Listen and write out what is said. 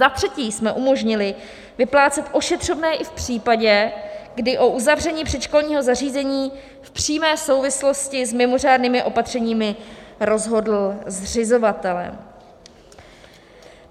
Za třetí jsme umožnili vyplácet ošetřovné i v případě, kdy o uzavření předškolního zařízení v přímé souvislosti s mimořádnými opatřeními rozhodli zřizovatelé.